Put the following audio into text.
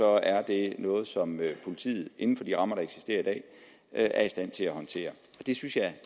er det noget som politiet inden for de rammer der eksisterer i dag er i stand til at håndtere det synes jeg at